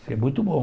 É muito bom.